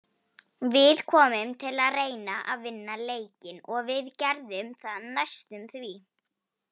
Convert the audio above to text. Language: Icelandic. Við komum til að reyna að vinna leikinn og við gerðum það næstum því.